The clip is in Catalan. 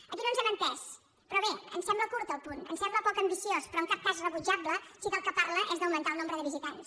aquí no ens hem entès però bé ens sembla curt el punt ens sembla poc ambiciós però en cap cas rebutjable si del que parla és d’augmentar el nombre de visitants